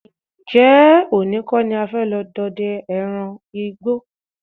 Ǹjé̩ òní kó̩ ni a fé̩ lo̩ do̩de̩ àwo̩n e̩ran igbó?